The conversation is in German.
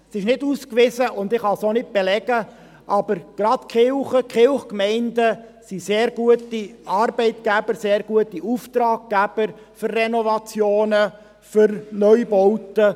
Es ist nicht ausgewiesen, und ich kann es nicht belegen, aber gerade die Kirchgemeinden sind sehr gute Arbeitgeber und sehr gute Auftraggeber für Renovationen und Neubauten.